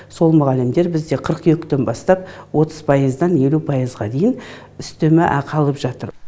сол мұғалімдер бізде қыркүйектен бастап отыз пайыздан елу пайызға дейін үстеме ақы алып жатыр